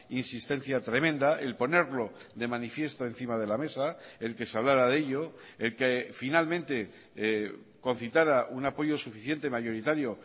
insistencia tremenda el ponerlo de manifiesto encima de la mesa el que se hablara de ello el que finalmente concitara un apoyo suficiente mayoritario